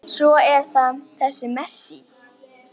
Svo er það þessi Messi.